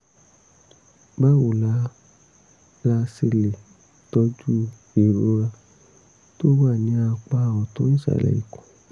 báwo la la ṣe lè tọ́jú ìrora tó wà ní apá ọ̀tún ìsàlẹ̀ ikùn?